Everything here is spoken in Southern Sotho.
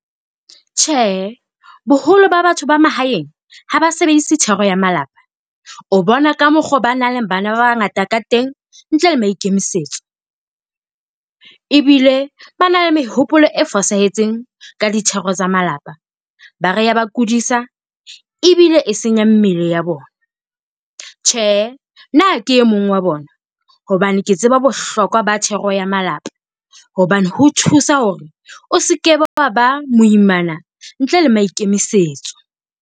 Tjhe, boholo ba batho ba mahaeng ha ba sebedise thero ya malapa o bona ka mokgwa oo ba nang le bana ba bangata ka teng ntle le maikemisetso, ebile ba na le mehopolo e fosahetseng ka di thero tsa malapa. Ba re ya ba kodisa ebile e senya mmele ya bona. Tjhe nna ha ke e mong wa bona hobane ke tseba bohlokwa ba thero ya malapa, hobane ho thusa hore o se ke be wa ba moimana ntle le maikemisetso.